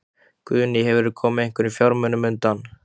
Guðný: Hefurðu komið einhverjum fjármunum undan?